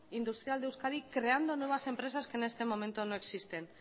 industrial de euskadi creando nuevas empresas que en este momento no existen